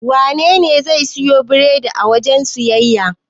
Wanene zai siyo biredi a wajen siyayya?